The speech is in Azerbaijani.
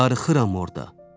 Darıxıram orda.